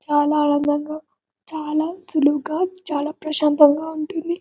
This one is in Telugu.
చాలా అందంగా చాల సులువుగా చాల ప్రశాంతగా ఉంటుంది.